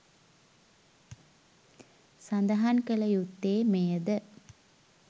සඳහන් කල යුත්තේ මෙය ද